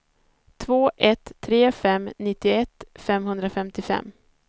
två ett tre fem nittioett femhundrafemtiofem